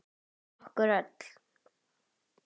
Okkur öll.